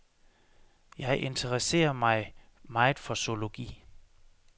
Jeg interesserer mig meget for zoologi.